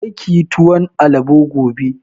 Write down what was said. Kar kiyi tuwon alabo gobe!